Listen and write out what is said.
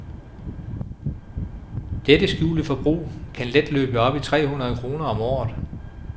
Dette skjulte forbrug kan let løbet op i tre hundrede kroner om året.